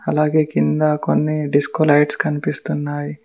అలాగే కింద కొన్ని డిస్కో లైట్స్ కనిపిస్తున్నాయి.